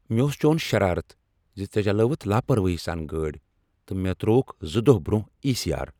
مےٚ اوس چون شرارت ز ژےٚ چلاوٕتھ لاپرواہی سان گٲڑۍ تہٕ مےٚ ترٛووکھ زٕ دۄہ برٛونٛہہ ای سی آر۔